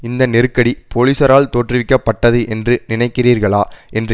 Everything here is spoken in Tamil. இந்த நெருக்கடி போலீசாரால் தோற்றுவிக்க பட்டது என்று நினைக்கிறீர்களா என்று